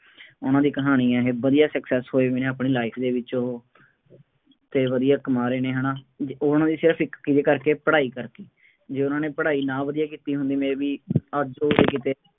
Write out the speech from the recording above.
ਉਹਨਾ ਦੀ ਕਹਾਣੀ ਆ ਇਹ, ਵਧੀਆ success ਹੋਏ ਵੀ ਨੇ ਆਪਣੀ life ਦੇ ਵਿੱਚ ਉਹ, ਅਤੇ ਵਧੀਆ ਕਮਾ ਰਹੇ ਨੇ, ਹੈ ਨਾ, ਉਹਨਾ ਦੀ ਸਿਰਫ ਇੱਕ ਕਿਹਦੇ ਕਰਕੇ, ਪੜ੍ਹਾਈ ਕਰਕੇ, ਜੇ ਉਹਨਾ ਨੇ ਪੜ੍ਹਾਈ ਨਾ ਵਧੀਆ ਕੀਤੀ ਹੁੰਦੀ may be ਅੱਜ ਉਹ ਕਿਤੇ,